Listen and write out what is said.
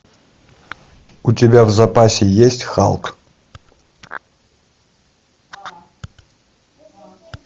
у тебя в запасе есть халк